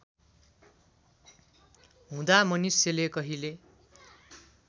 हुँदा मनुष्यले कहिले